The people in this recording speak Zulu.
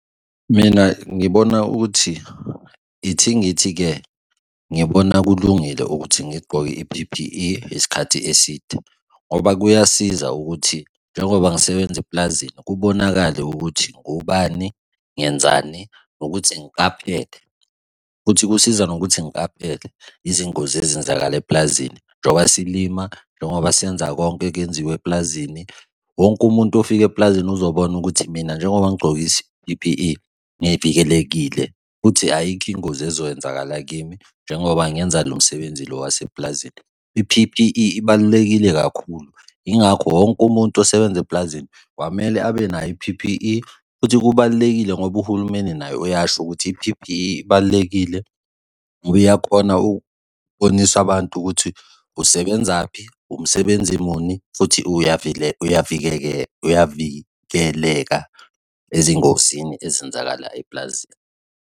Mina ngibona ukuthi ithi ngithi-ke ngibona kulungile ukuthi ngigqoke i-P_P_E isikhathi eside ngoba kuyasiza ukuthi njengoba ngisebenza eplazini kubonakale ukuthi ngubani ngenzani nokuthi ngiqaphele futhi kusiza nokuthi ngiqaphele izingozi ezenzakala eplazini njengoba silima njengoba senza konke okenziwa eplazini. Wonke umuntu ofika eplazini uzobona ukuthi mina njengoba ngigcoke i-P_P_E ngivikelekile futhi ayikho ingozi ezokwenzakala kimi, njengoba ngenza lo msebenzi lo wase plazini. I-P_P_E ibalulekile kakhulu, yingakho wonke umuntu osebenza epulazini kwamele abe nayo i-P_P_E futhi kubalulekile ngoba uhulumeni naye uyasho ukuthi i-P_P_E ibalulekile. Uyakhona ukubonisa abantu ukuthi usebenzaphi? Umsebenzi muni? Futhi uyavikeleka ezingozini ezenzakalayo epulazini.